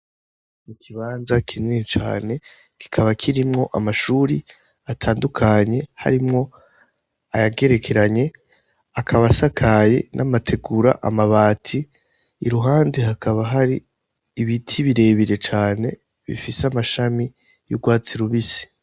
Ikibanza kinini cane kikaba kirimwo amashuri atandukanye ,harimwo ayagerekeranye, akaba asakaye n'amategura, amabati ,iruhande hakaba hari ibiti birebire cane bifise amashami y'urwatsi rubisi.